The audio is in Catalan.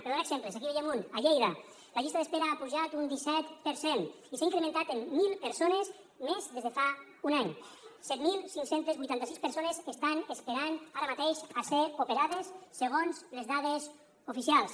per donar exemples aquí en veiem un a lleida la llista d’espera ha pujat un disset per cent i s’ha incrementat en mil persones més des de fa un any set mil cinc cents i vuitanta sis persones estan esperant ara mateix a ser operades segons les dades oficials